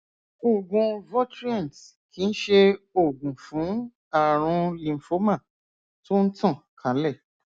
oògùn votrient kìí ṣe oògùn fún ààrùn lymphoma tó ń tàn kálẹ